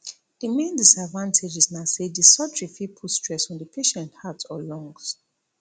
di main disadvantages na say di surgery fit put stress on di patient heart or lungs